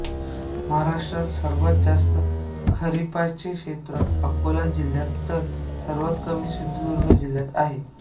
महाराष्ट्रात सर्वात जास्त खरिपाचे क्षेत्र अकोला जिल्ह्यात तर सर्वात कमी सिंधुदुर्ग जिल्ह्यात आहे